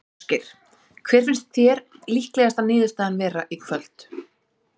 Ásgeir: Hver finnst þér líklegasta niðurstaðan vera í kvöld?